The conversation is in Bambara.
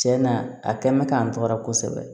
Cɛn na a kɛ mɛ k'an tɔgɔ kosɛbɛ